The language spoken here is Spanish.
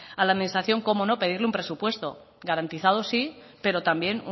a la administración cómo no pedirle un presupuesto garantizado sí pero también